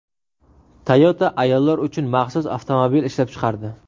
Toyota ayollar uchun maxsus avtomobil ishlab chiqardi.